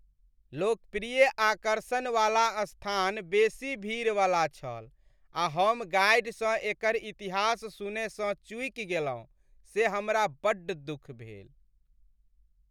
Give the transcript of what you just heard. लोकप्रिय आकर्षण वाला स्थान बेसी भीड़वला छल, आ हम गाइडसँ एकर इतिहास सुनयसँ चूकि गेलहुँ से हमरा बड्ड दुःख भेल।